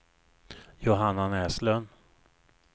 Johanna Näslund